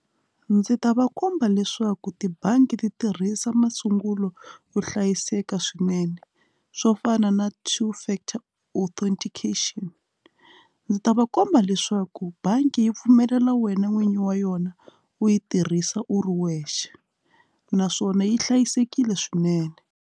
Ndzi ta va komba leswaku tibangi ti tirhisa masungulo yo hlayiseka swinene swo fana na two factor authentication ndzi ta va komba leswaku bangi yi pfumelela wena n'winyi wa yona u yi tirhisa u ri wexe naswona yi hlayisekile swinene.